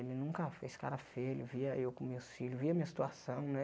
Ele nunca fez cara feia, ele via eu com meus filhos, via a minha situação, né?